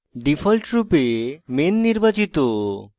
ডিফল্টরপে main নির্বাচিত